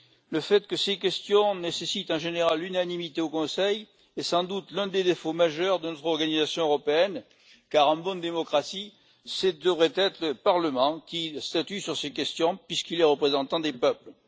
Le fait que ces questions nécessitent en général l'unanimité au Conseil est, sans doute, l'un des défauts majeurs de notre organisation européenne car, en bonne démocratie, ce devrait être le Parlement qui statue sur ces questions, puisqu'il est le représentant des peuples.